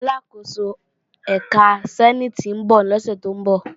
Aláàkóso ẹ̀ka sẹ́níìtì ń bọ̀ lọ́sẹ̀ tó ń bọ̀